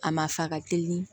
A ma fa ka teli